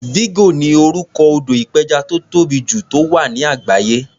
Vigo ni orúkọ odò ìpẹjà tó tóbì jù tó wà ní àgbáyé.